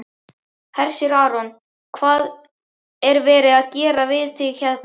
Hersir Aron: Hvað er verið að gera við þig hérna?